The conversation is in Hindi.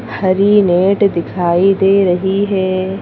हरी नेट दिखाई दे रही है।